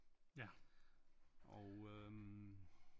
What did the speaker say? Ja og øh